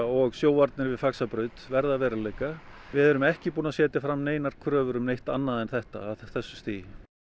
og sjóvarnir við Faxabraut verði að veruleika við erum ekki búin að setja fram kröfur um neitt annað en þetta á þessu stigi